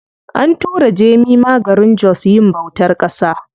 An tura Jemima garin jos yin bautar ƙasa.